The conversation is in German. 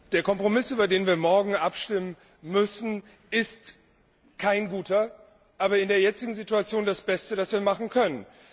Der Kompromiss, über den wir morgen abstimmen müssen, ist kein guter. Aber in der jetzigen Situation das Beste, das wir machen können.